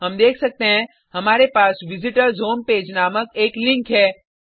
हम देख सकते हैं हमारे पास विजिटर्स होम पेज नामक एक लिंक है